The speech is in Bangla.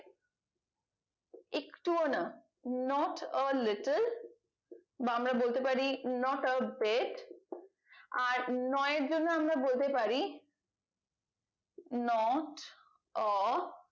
একটুও না not or little বা আমরা বলতে পারি not out bat আর নয় এর জন্য আমরা বলতে পারি not or